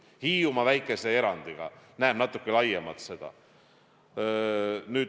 Hiiumaa väikese erandiga näeb seda natuke laiemalt.